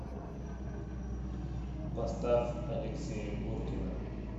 поставь алексея гуркина